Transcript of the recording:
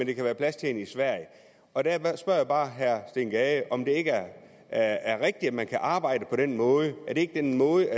kan være plads til den i sverige og der spørger jeg bare herre steen gade om det ikke er er rigtigt at man kan arbejde på den måde er det ikke den måde